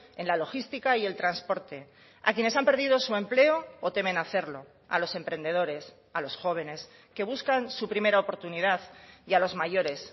en la logística y el transporte a quienes han perdido su empleo o temen hacerlo a los emprendedores a los jóvenes que buscan su primera oportunidad y a los mayores